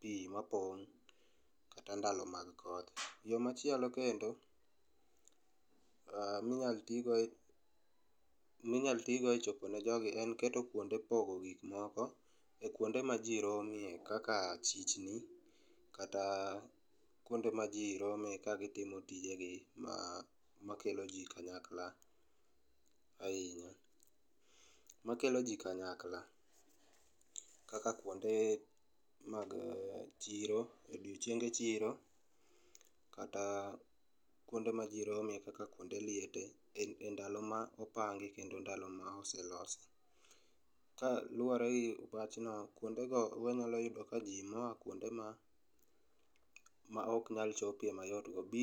pii mapong',kata ndalo mag koth. Yoo machielo kendo minyal tigo e,minyal tigo e chopo ne jogi en keto kuonde pogo gik moko e kuonde ma jii rome kaka chichni kata kuonde ma jii rome ka gitimo tijegi ma, makelo jii kanyakla ahinya, makelo jii kanyakla kaka kuonde mag chiro, odiochienge chiro kata kuonde ma jii rome kaka kuonde liete e ndalo ma opangi kendo ndalo ma oselosi. Kaluore gi wachno, kuonde go wanyalo yudo ka jii moa kuonde ma, maok nyal chopie mayot go biro